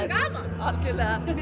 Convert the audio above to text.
algjörlega